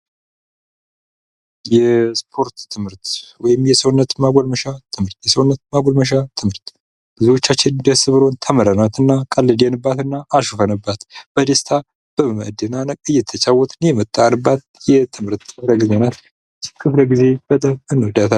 የስፖርት ትምህርት ወይም የሰውነት ማጎልመሻ ትምህርት ። የሰውነት ማጎልመሻ ትምህርት ብዙዎቻችን ደስ ብሎን ተምረናት እና ቀልደንባት እና አሹፈንባት በደስታ በመደናነቅ እየተጫወትን የመጣንባት የትምህርት ክፍለ ጊዜ ናት ክፍለ ጊዜ በጣም እንወዳት።